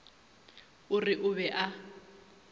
o re o be a